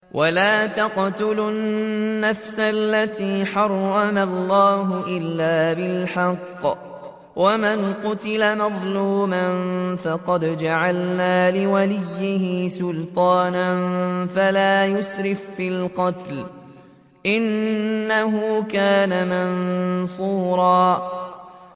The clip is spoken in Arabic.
وَلَا تَقْتُلُوا النَّفْسَ الَّتِي حَرَّمَ اللَّهُ إِلَّا بِالْحَقِّ ۗ وَمَن قُتِلَ مَظْلُومًا فَقَدْ جَعَلْنَا لِوَلِيِّهِ سُلْطَانًا فَلَا يُسْرِف فِّي الْقَتْلِ ۖ إِنَّهُ كَانَ مَنصُورًا